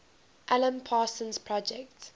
alan parsons project